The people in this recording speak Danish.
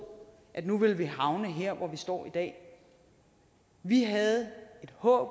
at nu ville vi havne her hvor vi står i dag vi havde et håb